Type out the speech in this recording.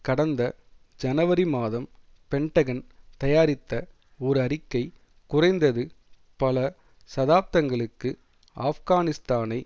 கடந்த ஜனவரி மாதம் பென்டகன் தயாரித்த ஒரு அறிக்கை குறைந்தது பல சதாப்தங்களுக்கு ஆப்கானிஸ்தானை